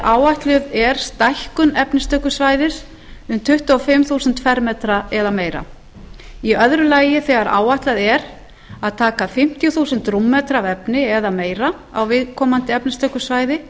áætluð er stækkun efnistökusvæðis um tuttugu og fimm þúsund fermetra eða meira annað þegar áætlað er að taka fimmtíu þúsund rúmmetra af efni eða meira á viðkomandi efnistökusvæði